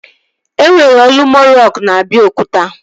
E nwere Olumo rock na Abiokuta